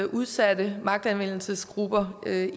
udsatte magtanvendelsesgrupper